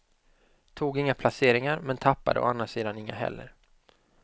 Tog inga placeringar, men tappad å andra sidan inga heller.